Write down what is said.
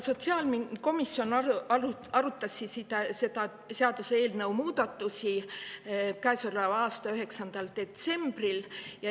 Sotsiaalkomisjon arutas seaduseelnõu muudatusi käesoleva aasta 9. detsembril.